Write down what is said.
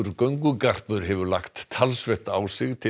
göngugarpur hefur lagt talsvert á sig til